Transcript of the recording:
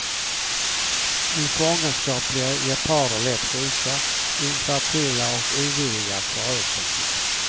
I fångenskap blir geparder lätt sjuka, infertila och ovilliga att föröka sig.